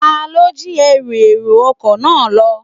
Ta ló jí Ẹrù èrò ọkọ̀ náà lọ.